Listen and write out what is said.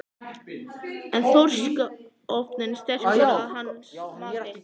En er þorskstofninn sterkur að hans mati?